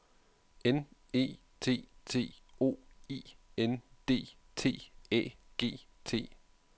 N E T T O I N D T Æ G T